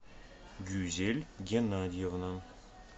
гюзель геннадьевна